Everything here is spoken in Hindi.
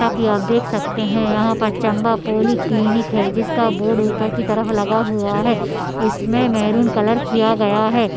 जैसे की आप देख सकते हैं यहाँ पर चंबा पोली क्लिंक है जिसका बोर्ड ऊपर की तरफ लगा हुआ है इसमें मेहरून कलर किया गया है।